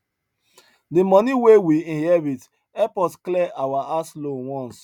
the money wey we inherit help us clear our house loan once